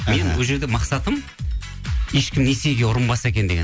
мен ол жерде мақсатым ешкім несиеге ұрынбаса екен деген